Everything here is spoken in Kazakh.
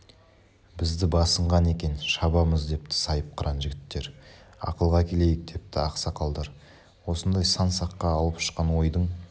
бізді басынған екен шабамыз депті сайыпқыран жігіттер ақылға келейік депті ақсақалдар осындай сан-саққа алып ұшқан ойдың